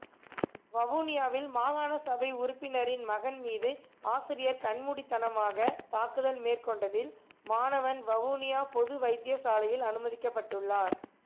வவுனியாவில் மாகாணசபை உறுப்பினரின் மகன் மீது ஆசிரியர் கண்மூடிதனமாக தாக்குதல் மேற்கொண்டதில் மாணவன் வவுனியா பொது வைத்தியசாலையில் அனுமதிக்கப்பட்டுள்ளார்